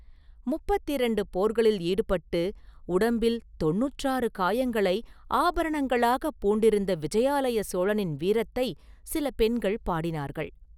முப்பத்திரண்டு போர்களில் ஈடுபட்டு, உடம்பில் தொண்ணூற்றாறு காயங்களை ஆபரணங்களாகப் பூண்டிருந்த விஜயாலய சோழனின் வீரத்தைச் சில பெண்கள் பாடினார்கள்.